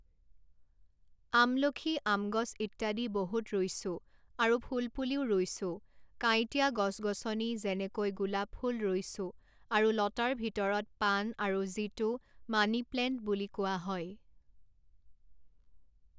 আমলখি আমগছ ইত্যাদি বহুত ৰুইছোঁ আৰু ফুলপুলিও ৰুইছোঁ কাঁইটীয়া গছ গছনি যেনেকৈ গোলাপফুল ৰুইছোঁ আৰু লতাৰ ভিতৰত পান আৰু যিটো মানিপ্লেণ্ট বুলি কোৱা হয়